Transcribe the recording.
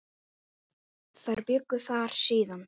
Þar bjuggu þau síðan.